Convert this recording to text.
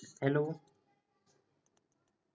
hello